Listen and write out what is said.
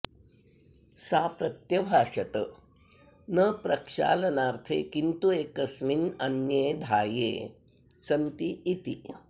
सा प्रत्यभाषत न प्रक्षालनार्थे किन्तु एकस्मिन्नन्ये धाये सन्ति इति